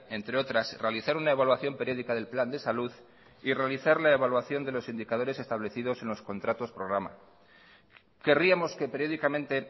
entre otras realizar una evaluación periódica del plan de salud y realizar la evaluación de los indicadores establecidos en los contratos programa querríamos que periódicamente